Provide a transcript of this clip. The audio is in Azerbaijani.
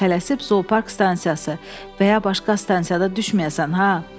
Tələsib Zoopark stansiyası və ya başqa stansiyada düşməyəsən ha.